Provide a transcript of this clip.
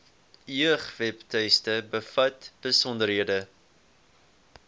jeugwebtuiste bevat besonderhede